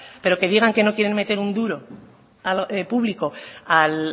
pero que digan que no quieran meter un duro público al